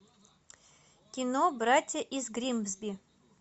кино братья из гримсби